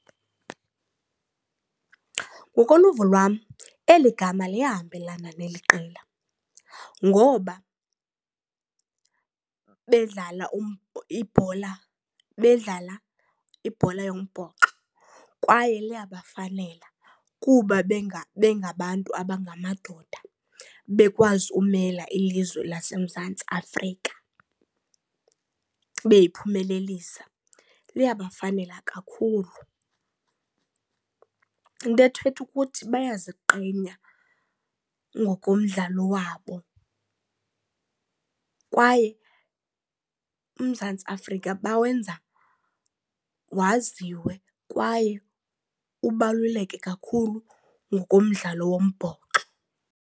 Ngokoluvo lwam eli gama liyahambelana neli qela ngoba bedlala bedlala ibhola yombhoxo kwaye liyabafanela kuba bengabantu abangamadoda bekwazi ukumela ilizwe laseMzantsi Afrika, beyiphumelelisa, liyabafanela kakhulu. Into ethetha ukuthi bayaziqenya ngokomdlalo wabo kwaye uMzantsi Afrika bawenza waziwe kwaye ubaluleke kakhulu ngokomdlalo wombhoxo.